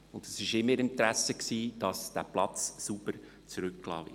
Es war in ihrem Interesse, dass der Platz sauber zurückgelassen wurde.